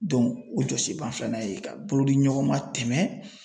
o jɔsenba filanan ye ka bolodiɲɔgɔnma tɛmɛ